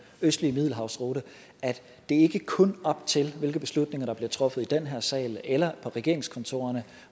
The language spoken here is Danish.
østlige middelhavsrute at det ikke kun er op til hvilke beslutninger der bliver truffet i den her sal eller på regeringskontorerne